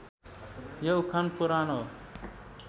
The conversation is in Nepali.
यो उखान पुरानो